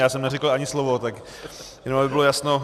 Já jsem neřekl ani slovo, tak jenom aby bylo jasno.